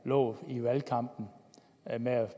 lovet i valgkampen med at